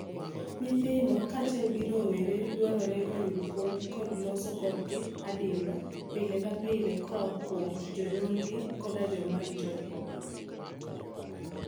Nyithindo kaachiel gi rowere dwarore oyud puonj kod loso kodgi admiba pile ka pile koa kuom jonyuolgi koda joma ritogi.